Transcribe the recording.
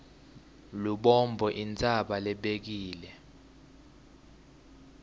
lubombo intsaba lebekile